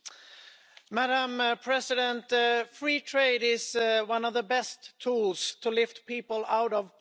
Madam President, free trade is one of the best tools to lift people out of poverty.